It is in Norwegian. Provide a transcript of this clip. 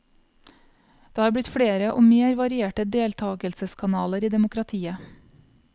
Det har blitt flere og mer varierte deltakelseskanaler i demokratiet.